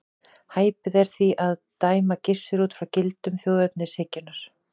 Hæpið er því að dæma Gissur út frá gildum þjóðernishyggjunnar.